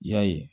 I y'a ye